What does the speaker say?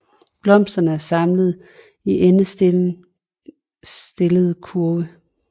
Blomsterne er samlet i endestillede kurve